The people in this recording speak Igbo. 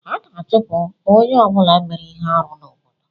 A ga-achụpụ onye ọ bụla mere ihe arụ n'obodo.